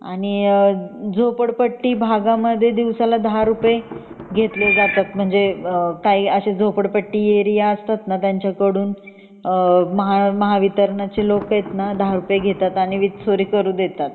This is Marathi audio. आणि झोपडपट्टी भागामध्ये दिवसाला दहा रुपये ने जातात म्हणजे काही झोपडपट्टी एरिया असतात ना त्यांचकडून महा महावितरणाचे लोक आहेत ना दहा रुपये घेतात आणि वीज चोरी करू देतात